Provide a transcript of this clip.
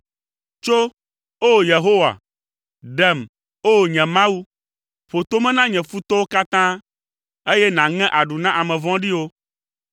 Tso, O, Yehowa! Ɖem, O, nye Mawu! Ƒo tome na nye futɔwo katã; eye nàŋe aɖu na ame vɔ̃ɖiwo.